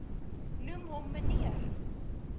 noem hom meneer